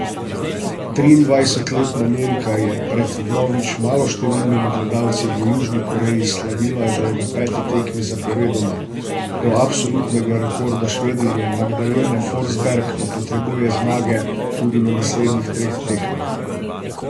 Triindvajsetletna Nemka je pred vnovič maloštevilnimi gledalci v Južni Koreji slavila že na peti tekmi zaporedoma, do absolutnega rekorda Švedinje Magdalene Forsberg pa potrebuje zmage tudi na naslednjih treh tekmah.